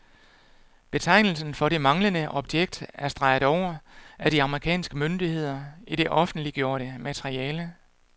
Betegnelsen for det manglende objekt er streget over af de amerikanske myndigheder i det offentliggjorte materiale.